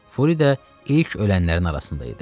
Furi də ilk ölənlərin arasında idi.